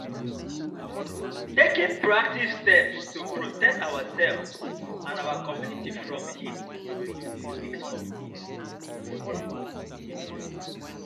taking proactive steps to protect ourselves and our communities from heat go reduce di risk of heat-related illness.